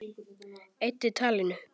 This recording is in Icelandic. Eyddi talinu.